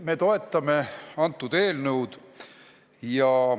Me toetame seda eelnõu.